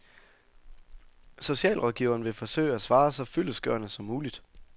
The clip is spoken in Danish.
Socialrådgiveren vil forsøge at svare så fyldestgørende som muligt.